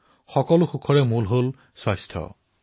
বিশ্বৰ সকলো সুখৰ ভাণ্ডাৰ হল স্বাস্থ্য